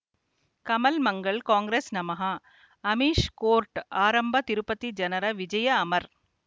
ಕಮಲ್ ಮಂಗಳ್ ಕಾಂಗ್ರೆಸ್ ನಮಃ ಅಮಿಷ್ ಕೋರ್ಟ್ ಆರಂಭ ತಿರುಪತಿ ಜನರ ವಿಜಯ ಅಮರ್